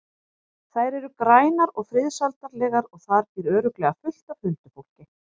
Þær eru grænar og friðsældarlegar og þar býr örugglega fullt af huldufólki.